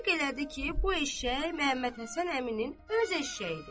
Təsdiq elədi ki, bu eşşək Məhəmmədhəsən əminin öz eşşəyidir.